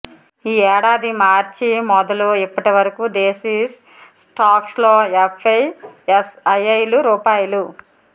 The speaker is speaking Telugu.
ఈ ఏడాది మార్చి మొదలు ఇప్పటివరకూ దేశీ స్టాక్స్లో ఎఫ్ఐఐలు రూ